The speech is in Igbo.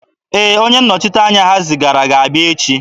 Ee, onye nnọchiteanya ha zigara ga-abịa echi.